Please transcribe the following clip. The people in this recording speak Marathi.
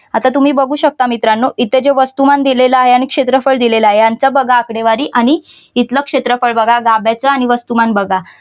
आता तुम्ही बघू शकता मित्रानो इथ जे क्षेत्रफळ दिलेलं आहे आणि वस्तुमान दिलेलं आहे यांचं बघा आकडेवारी आणि इथलं क्षेत्रफळ बघा गाभ्याच आणि वस्तुमान बघा.